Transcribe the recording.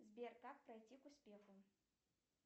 сбер как пройти к успеху